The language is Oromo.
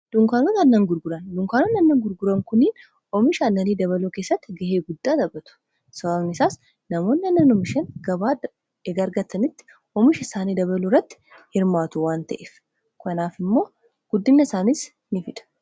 dunkaanota aannan gurguran dunkaanoonni annan gurguran kuniin oomisha annanii dabaloo keessatti gahee guddaa tabatu sababani isaas namoonni annanumishan gabaa gargatanitti oomisha isaanii dabaluu rratti hirmaatu waan ta'eef kanaaf immoo guddinna isaaniis in fida